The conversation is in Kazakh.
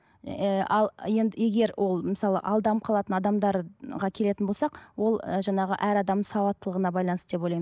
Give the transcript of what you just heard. ыыы ал енді егер ол мысалы алданып қалатын адамдарға келетін болсақ ол ы жаңағы әр адамның сауаттылығына байланысты деп ойлаймын